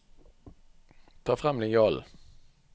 Ta frem linjalen